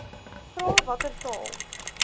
vra watter taal